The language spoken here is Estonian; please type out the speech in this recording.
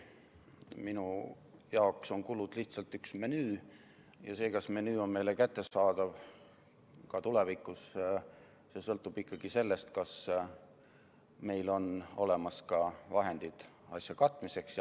Minu jaoks on kulud lihtsalt üks menüü ja see, kas menüü on meile kättesaadav ka tulevikus, sõltub ikkagi sellest, kas meil on olemas ka vahendid asja katmiseks.